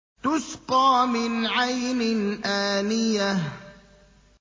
تُسْقَىٰ مِنْ عَيْنٍ آنِيَةٍ